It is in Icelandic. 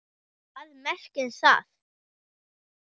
Hvað merkir það?!